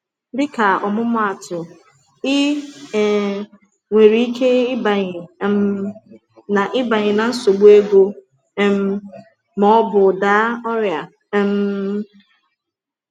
Dịka ọmụmaatụ, ị um nwere ike ịbanye na ịbanye na nsogbu ego um ma ọ bụ daa ọrịa. um